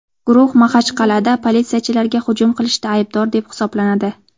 Guruh Maxachqal’ada politsiyachilarga hujum qilishda aybdor deb hisoblanadi.